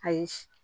Ayi